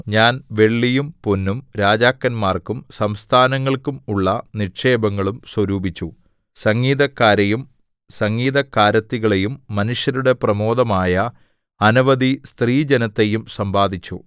ഞാൻ വെള്ളിയും പൊന്നും രാജാക്കന്മാർക്കും സംസ്ഥാനങ്ങൾക്കും ഉള്ള നിക്ഷേപങ്ങളും സ്വരൂപിച്ചു സംഗീതക്കാരെയും സംഗീതക്കാരത്തികളെയും മനുഷ്യരുടെ പ്രമോദമായ അനവധി സ്ത്രീജനത്തെയും സമ്പാദിച്ചു